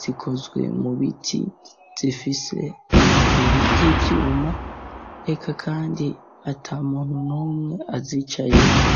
zikozwe mu biti zifise amaguru y'ivyuma reka kandi ata muntu n'umwe azicayeko.